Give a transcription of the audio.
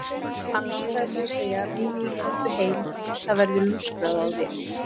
Hann langaði til að segja: Mimi, komdu heim, það verður lúskrað á þér.